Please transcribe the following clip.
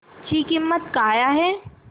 ची किंमत काय आहे